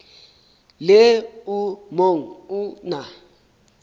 le o mong o na